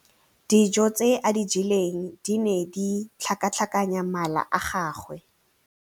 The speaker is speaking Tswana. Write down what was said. Dijô tse a di jeleng di ne di tlhakatlhakanya mala a gagwe.